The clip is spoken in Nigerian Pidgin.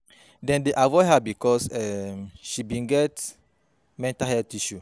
Dem dey avoid her because um she bin dey get mental health issues.